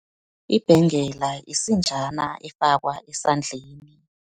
Ibhengela, yisinjana efakwa esandleni.